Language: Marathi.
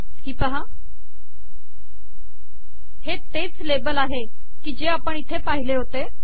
ही पाहा हे तेच लेबल आहे की जे आपण इथे पहिले होते